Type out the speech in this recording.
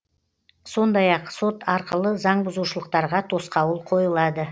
сондай ақ сот арқылы заңбұзушылықтарға тосқауыл қойылады